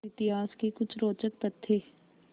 इतिहास के कुछ रोचक तथ्य